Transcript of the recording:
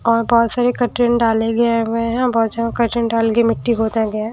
और बहुत सारे कर्टन डाले गए हुए हैं बहुत जगन कर्टन डाल के मिट्टी बहोत है।